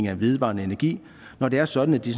af vedvarende energi når det er sådan at de